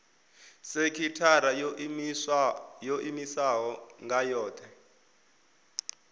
sekithara yo iimisaho nga yohe